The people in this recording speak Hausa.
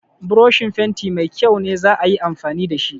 Broshin fenti mai kyau ne za a yi amfani da shi.